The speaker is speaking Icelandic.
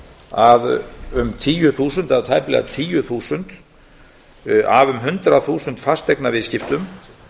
að um tíu þúsund eða tæplega tíu þúsund af um hundrað þúsund fasteignaviðskiptum